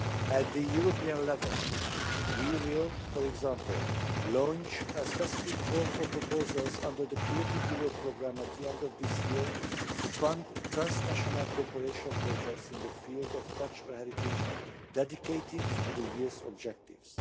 At the European level we will, for example, launch a specific call for proposals under the Creative Europe programme at the end of this year to fund transnational cooperation projects in the field of cultural heritage dedicated to the year's objectives